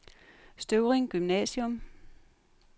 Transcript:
Støvring Gymnasium